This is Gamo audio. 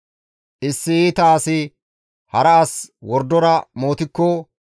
Issi iita asi hara as wordora mootikko,